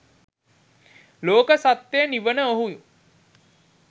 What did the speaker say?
ලෝක සත්‍යය නිවන ඔහු